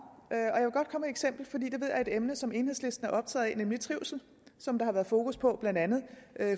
og er et emne som enhedslisten er optaget af nemlig trivsel som der har været fokus på blandt andet